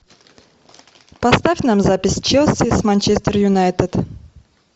поставь нам запись челси с манчестер юнайтед